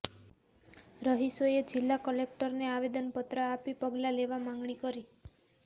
રહીશોએ જિલ્લા કલેક્ટરને આવેદનપત્ર આપી પગલાં લેવા માગણી કરી